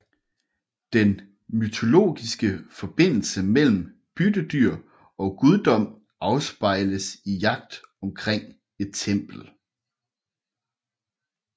Den mytologiske forbindelse mellem byttedyr og guddom afspejles i jagt omkring et tempel